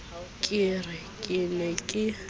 ke re ke ne ke